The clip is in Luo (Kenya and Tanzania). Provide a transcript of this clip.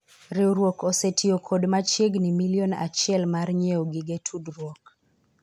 riwruok osetiyo kod machiegni milion achiel mar nyiewo gige tudruok